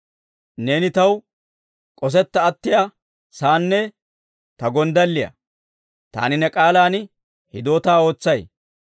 Neeni taw k'osetta attiyaa saanne ta gonddalliyaa; taani ne k'aalan hidootaa ootsay.